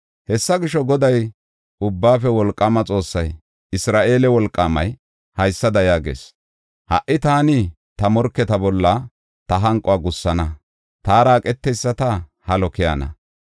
Hessa gisho, Goday, Ubbaafe Wolqaama Xoossay, Isra7eele Wolqaamay, haysada yaagees; “Ha77i taani ta morketa bolla ta hanquwa gussana; taara eqeteyisata halo keyana.